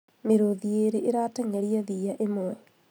Mĩrũthi ĩrĩ ĩrateng'eria thiya ĩmwe